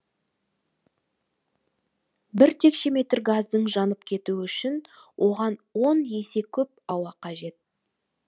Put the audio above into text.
бір текше метр газдың жанып кетуі үшін оған он есе көп ауа қажет